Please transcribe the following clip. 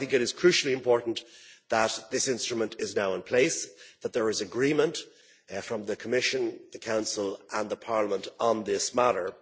I think it is crucially important that this instrument is now in place, that there is agreement from the Commission, the Council and Parliament on this matter.